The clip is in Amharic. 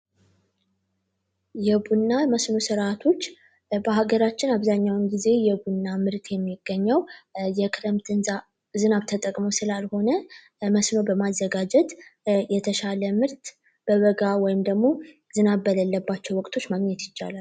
የቡና መስኖ ስርዓቶች በሀገራችን አብዛኛውን ጊዜ የቡና ምርት የሚገኘው የክረምት ዝናብ ተጠቅሞ ስላልሆነመስኖ በማዘጋጀት የተሻለ ምርት በመጋሙ ዝናብ በሌለባቸው ወቅቶች ማግኘት ይቻላል።